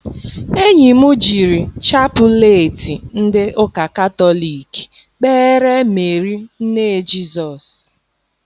Enyi m jiri chapụleetị ndị ụka katọliki kpeere Meeri nne Jizọs.